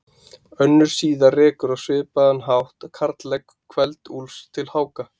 Önnur síða rekur á svipaðan hátt karllegg Kveld-Úlfs til Háka.